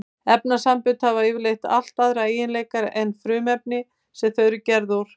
Efnasambönd hafa yfirleitt allt aðra eiginleika en frumefnin sem þau eru gerð úr.